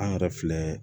An yɛrɛ filɛ